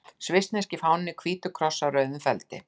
Svissneski fáninn er hvítur kross á rauðum feldi.